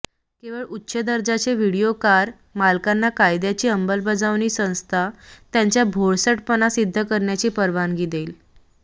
केवळ उच्च दर्जाचे व्हिडिओ कार मालकांना कायद्याची अंमलबजावणी संस्था त्याच्या भोळसटपणा सिद्ध करण्याची परवानगी देईल